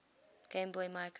game boy micro